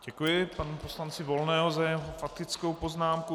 Děkuji panu poslanci Volnému za jeho faktickou poznámku.